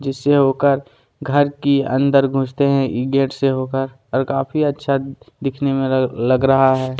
जिससे होकर घर की अंदर घुसते हैं इ गेट से होकर और काफी अच्छा दिखने में लग लग रहा है।